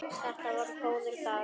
Þetta voru góðir dagar.